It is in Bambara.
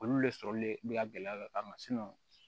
Olu le sɔrɔli le bɛ ka gɛlɛya dɔ kama